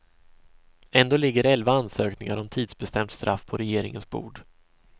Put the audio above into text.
Ändå ligger elva ansökningar om tidsbestämt straff på regeringens bord.